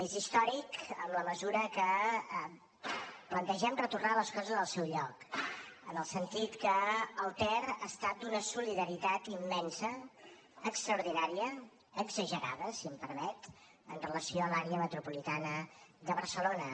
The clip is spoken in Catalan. és històric en la mesura que plantegem retornar les coses al seu lloc en el sentit que el ter ha estat d’una solidaritat immensa extraordinària exagerada si m’ho permet amb relació a l’àrea metropolitana de barcelona